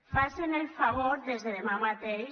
facen el favor des de demà mateix